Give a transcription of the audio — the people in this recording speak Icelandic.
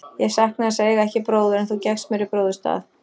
Ég saknaði þess að eiga ekki bróður, en þú gekkst mér í bróður stað.